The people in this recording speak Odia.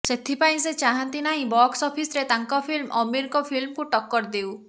ସେଥିପାଇଁ ସେ ଚାହାନ୍ତି ନାହିଁ ବକ୍ସ ଅଫିସ୍ରେ ତାଙ୍କ ଫିଲ୍ମ ଆମୀରଙ୍କ ଫିଲ୍କକୁ ଟକ୍କର ଦେଉ